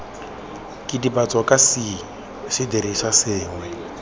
kidibatso kana c sedirisiwa sengwe